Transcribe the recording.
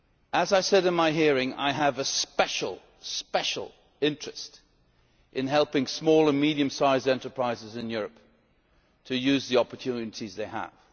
As I said at my hearing, I have a very special interest in helping small and medium sized enterprises in Europe to use the opportunities they have.